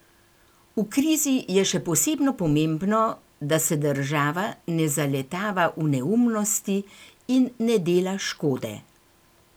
V krizi je še posebno pomembno, da se država ne zaletava v neumnosti in ne dela škode!